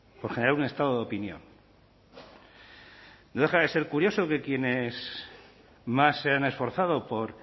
por generar un estado de opinión no deja de ser curioso que quienes más se han esforzado por